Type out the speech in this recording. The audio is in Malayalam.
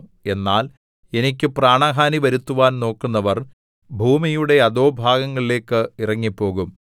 എന്നാൽ എനിക്ക് പ്രാണഹാനി വരുത്തുവാൻ നോക്കുന്നവർ ഭൂമിയുടെ അധോഭാഗങ്ങളിലേക്ക് ഇറങ്ങിപ്പോകും